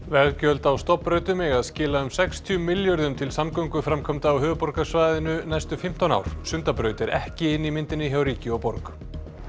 veggjöld á stofnbrautum eiga að skila um sextíu milljörðum til samgönguframkvæmda á höfuðborgarsvæðinu næstu fimmtán ár Sundabraut er ekki inni í myndinni hjá ríki og borg